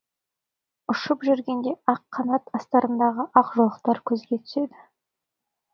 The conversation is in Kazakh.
ұшып жүргенде қанат астарындағы ақ жолақтар көзге түседі